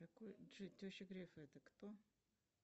какой теща греф это кто